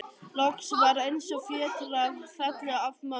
Loks var eins og fjötrar féllu af mömmu.